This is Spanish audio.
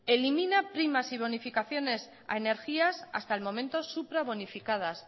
elimina primas y bonificaciones a energías hasta el momento suprabonificadas